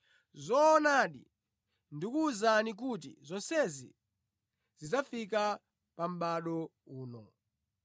Zoonadi, ndikuwuzani kuti zonsezi zidzafika pa mʼbado uno.